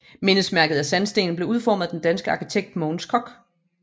Mindesmærket af sandsten blev udformet af den danske arkitekt Mogens Koch